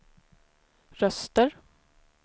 röster